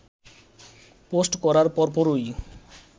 post করার পরপরই